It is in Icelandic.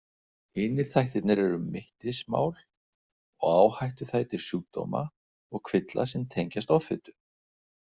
Hinir þættirnir eru mittismál og áhættuþættir sjúkdóma og kvilla sem tengjast offitu.